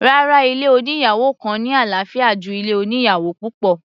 Rárá, ilé oníyàwò kan ní àlàáfíà ju ilé oníyàwò púpọ̀.